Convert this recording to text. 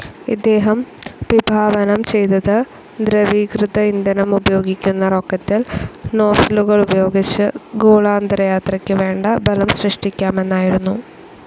ഇദ്ദേഹം വിഭാവനം ചെയ്തത് ദ്രവീകൃത ഇന്ധനമുപയോഗിക്കുന്ന റോക്കറ്റിൽ നോസിലുകളുപയോഗിച്ച് ഗോളാന്തരയാത്രക്ക് വേണ്ട ബലം സൃഷ്ടിക്കാമെന്നായിരുന്നു.